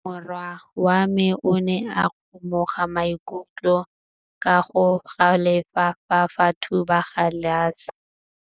Morwa wa me o ne a kgomoga maikutlo ka go galefa fa a thuba galase.